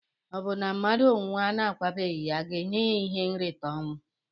Obụ na mmadu nwụọ na akwabeghi ya aga enye ya ihe nrita ọnwụ?